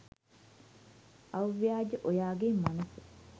අව්‍යාජා ඔයාගේ මනස